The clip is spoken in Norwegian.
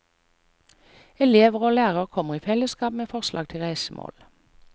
Elever og lærere kommer i fellesskap med forslag til reisemål.